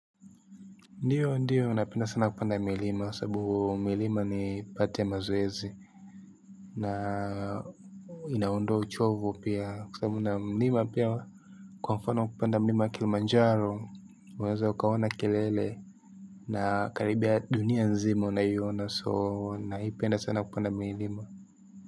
Ndiyo ndiyo napenda sana kupanda milima sabu milima nipate maoezi na inaondoa uchovu pia kwa sababu na mlima pia kwa mfano kupanda mlima kilima njari unaweza ukaona kelele na karibia dunia nzima unayiona so naipenda sana kupanda milima.